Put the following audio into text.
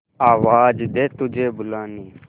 आवाज दे तुझे बुलाने